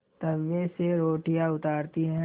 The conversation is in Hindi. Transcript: तवे से रोटियाँ उतारती हैं